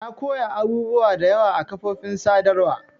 Na koya abubuwa da yawa a kafofin sadarwa.